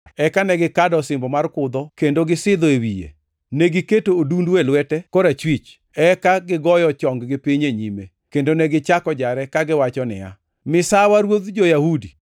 eka ne gikado osimbo mar kudho kendo gisidho e wiye. Negiketo odundu e lwete korachwich, eka gigoyo chong-gi piny e nyime, kendo negichako jare kagiwacho niya, “Misawa, ruodh jo-Yahudi!”